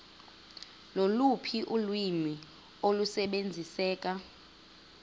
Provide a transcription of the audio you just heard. loluphi ulwimi olusebenziseka